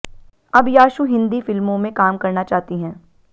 अब याशु हिंदी फिल्मों में काम करना चाहती हैं